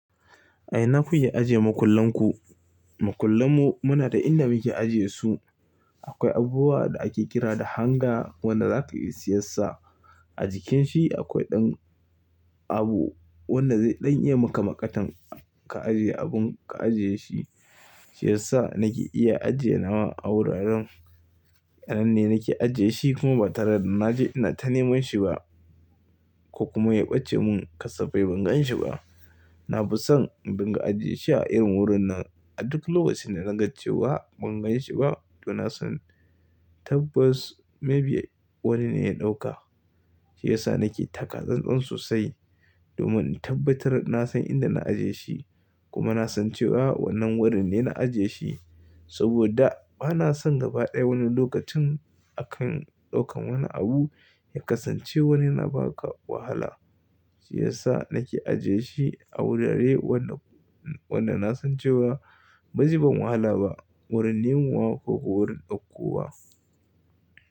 A ina kukeyi ajiye makullan ku? Makullan mu muna da inda muke ajiyesu. Akwai abubuwa da ake kira da hangar wanda za ka iya siyan sa. A jikin shi akwai ɗan abu wanda zai ɗan yi maka maƙatan ka ajiye abun ka ajiyeshi. Shi yasa na ke iya ajiye nama a wuraren, nan ne na ke ajiyeshi kuma ba tare da na je inata neman shi ba ko kuma ya ɓace mun kasafai bangan shi ba. Na fi son in dinga ajiyeshi a irin wurin nan a duk lokacin da na ga cewa bangan shi ba to na san tabbas maybe wani ne ya ɗauka. Shi yasa na ke taka tsan tsan sosai domin in tabbatar na san inda na ajiye shi kuma na san cewa wannan wurin ne na ajiye shi saboda ba na son gaba ɗaya wani lokacin a kan ɗaukan wani abu ya kasance wani na baka wahala. Shi yasa na ke ajiye shi a wurare wanda, wanda na san cewa ba zai ban wahala ba wurin nemowa ko ko wurin ɗauko wa.